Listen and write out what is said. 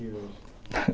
Verdade.